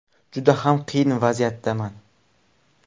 Juda ham qiyin vaziyatdaman.